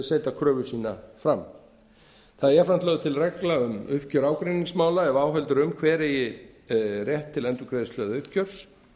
setja kröfu sína fram það er jafnframt lögð til regla um uppgjör ágreiningsmála ef áhöld eru um hver eigi rétt til endurgreiðslu eða uppgjörs